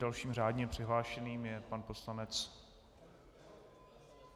Dalším řádně přihlášeným je pan poslanec...